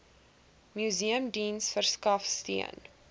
museumdiens verskaf steun